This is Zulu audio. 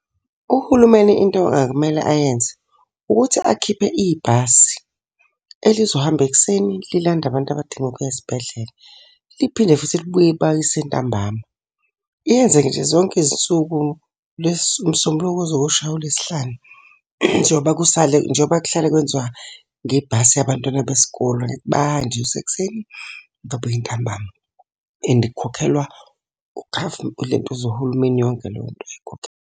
Uhulumeni into angakumele ayenze, ukuthi akhiphe ibhasi elizohamba ekuseni lilande abantu abadinga ukuya esibhedlela, liphinde futhi libuye ipakise ntambama. Yenze nje zonke izinsuku lesi umsombuluko kuze kuyoshaya uLwesihlanu. Njengoba kusale njengoba kuhlale kwenziwa ngebhasi yabantwana besikole, bayahanjiswa ekusekuseni babuye ntambama. And kukhokhelwa ulentuza uhulumeni yonke leyo nto .